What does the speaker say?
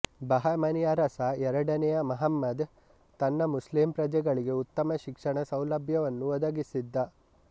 ಬಹಮನಿ ಅರಸ ಎರಡನೆಯ ಮಹಮ್ಮದ್ ತನ್ನ ಮುಸ್ಲಿಂ ಪ್ರಜೆಗಳಿಗೆ ಉತ್ತಮ ಶಿಕ್ಷಣ ಸೌಲಭ್ಯವನ್ನು ಒದಗಿಸಿದ್ದ